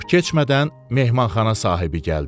Çox keçmədən mehmanxana sahibi gəldi.